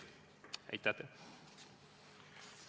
Aitäh teile!